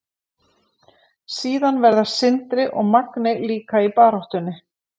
Síðan verða Sindri og Magni líka í baráttunni.